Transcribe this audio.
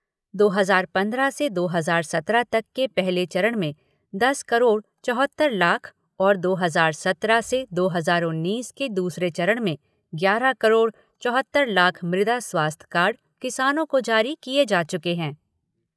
दो हज़ार पंद्रह से दो हज़ार सत्रह तक के पहले चरण में दस करोड़ चौहत्तर लाख और दो हज़ार सत्रह से दो हज़ार उन्नीस के दूसरे चरण में ग्यारह करोड़ चौहत्तर लाख मृदा स्वास्थ्य कार्ड किसानों को जारी किए जा चुके है।